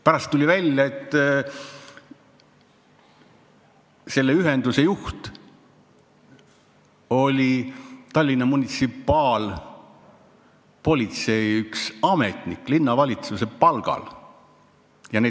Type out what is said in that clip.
Pärast tuli välja, et selle ühenduse juht oli üks Tallinna munitsipaalpolitsei ametnik, linnavalitsuse palgal inimene.